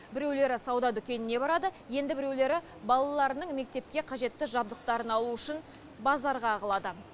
біреулері сауда дүкенінен барады енді біреулері балаларының мектепке қажетті жабдықтарын алу үшін базарға ағылады